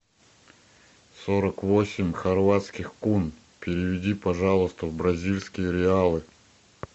сорок восемь хорватских кун переведи пожалуйста в бразильские реалы